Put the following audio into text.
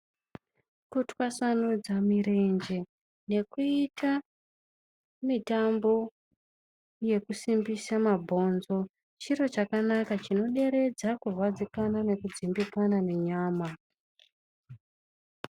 Kutwasanudza mirenje ngekuita mitambo yekusimbisa mabhonzo chiro chakanaka chinoderedza kurwadzikana nekudzimbikana nenyama.